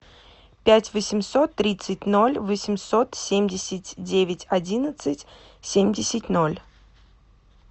пять восемьсот тридцать ноль восемьсот семьдесят девять одиннадцать семьдесят ноль